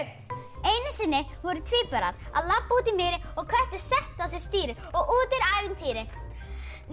einu sinni voru tvíburar að labba úti í mýri og köttur setti á sig stýri og úti er ævintýri nei